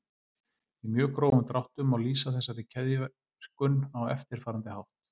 Í mjög grófum dráttum má lýsa þessari keðjuverkun á eftirfarandi hátt.